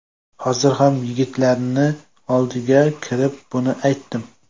Hozir ham yigitlarni oldiga kirib buni aytdim.